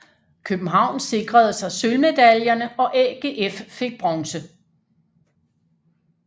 København sikrede sig sølvmedaljerne og AGF fik bronze